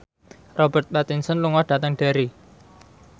Robert Pattinson lunga dhateng Derry